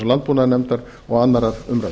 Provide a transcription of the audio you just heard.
landbúnaðarnefndar og annarrar umræðu